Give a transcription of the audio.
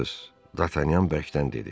Dartanyan bərkdən dedi.